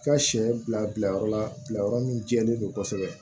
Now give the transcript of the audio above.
Ka sɛ bila bila yɔrɔ la yɔrɔ min jɛlen don kosɛbɛ